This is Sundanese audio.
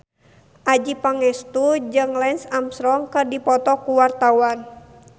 Adjie Pangestu jeung Lance Armstrong keur dipoto ku wartawan